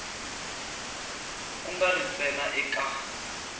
ku nga ri ntsena eka